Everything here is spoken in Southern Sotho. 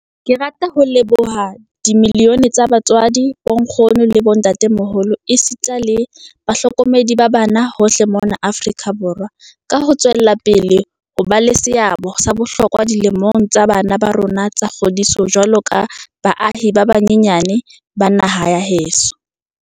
Ke rata ho leboha dimiliyone tsa batswadi, bonkgono le bo ntatemoholo esita le bahlokomedi ba bana hohle mona Afrika Borwa ka ho tswela pele ho ba le seabo sa bohlokwa dilemong tsa bana ba rona tsa kgodiso jwaloka baahi ba banyenyane ba naha ya heso.